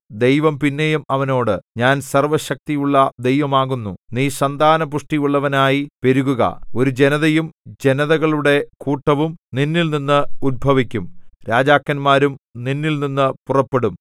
ദൈവം പിന്നെയും അവനോട് ഞാൻ സർവ്വശക്തിയുള്ള ദൈവം ആകുന്നു നീ സന്താനപുഷ്ടിയുള്ളവനായി പെരുകുക ഒരു ജനതയും ജനതകളുടെ കൂട്ടവും നിന്നിൽനിന്ന് ഉത്ഭവിക്കും രാജാക്കന്മാരും നിന്നിൽനിന്നു പുറപ്പെടും